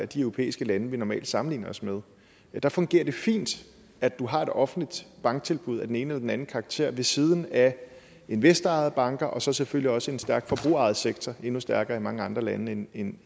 de europæiske lande vi normalt sammenligner os med der fungerer det fint at man har et offentligt banktilbud af den ene eller den anden karakter ved siden af investorejede banker og så selvfølgelig også en stærk forbrugerejet sektor endnu stærkere i mange andre lande end